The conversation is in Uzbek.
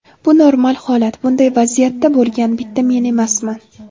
Bu normal holat, bunday vaziyatda bo‘lgan bitta men emasman.